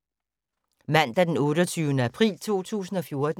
Mandag d. 28. april 2014